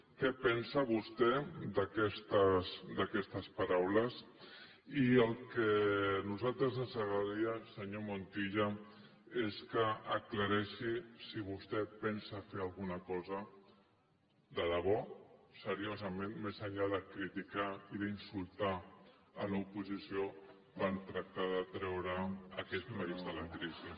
què pensa vostè d’aquestes paraules i el que a nosaltres ens agradaria senyor montilla és que aclarís si vostè pensa fer alguna cosa de debò seriosament més enllà de criticar i d’insultar l’oposició per tractar de treure aquest país de la crisi